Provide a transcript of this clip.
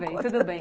tudo bem.